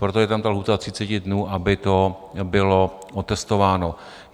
Proto je tam ta lhůta 30 dnů, aby to bylo otestováno.